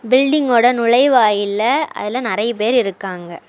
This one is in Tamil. பில்டிங்கோட நுழைவாயில்ல அதுல நெறைய பேர் இருக்காங்க.